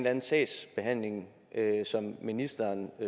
anden sagsbehandling som ministeren